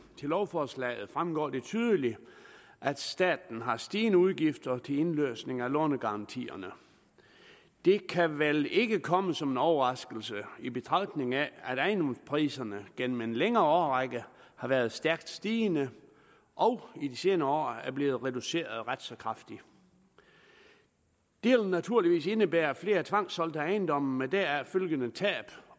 til lovforslaget fremgår det tydeligt at staten har stigende udgifter til indløsning af lånegarantierne det kan vel ikke komme som en overraskelse i betragtning af at ejendomspriserne gennem en længere årrække har været stærkt stigende og i de senere år er blevet reduceret ret så kraftigt det vil naturligvis indebære flere tvangssolgte ejendomme med deraf følgende tab